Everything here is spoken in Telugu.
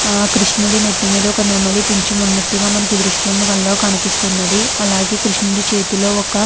ఆ కృష్ణుడి నెత్తి మీద ఒక నెమలి పించాం ఉన్నట్టుగా మనకి ఈ దృశ్యంలో కనిపిస్తున్నది. అలాగే కృష్ణుడి చేతిలో ఒక --